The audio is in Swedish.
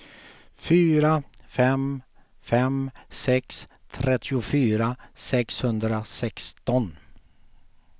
fyra fem fem sex trettiofyra sexhundrasexton